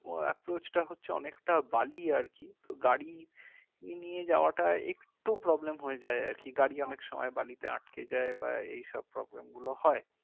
approach টা হচ্ছে অনেকটা বালি আর কি তো গাড়ি নিয়ে যাওয়াটা একটু problem হয়ে যাই আর কি গাড়ি অনেক সময় বালিতে আটকে যাই বা এই সব problem গুলো হয়